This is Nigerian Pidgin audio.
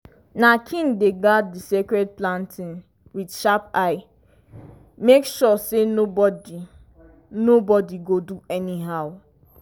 na king dey guard di sacred planting with sharp eye make sure say nobody nobody go do anyhow.